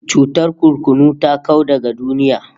Cutar kurkunu ta kau daga duniya